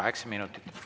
Kaheksa minutit.